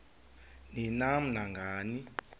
ni nam nangani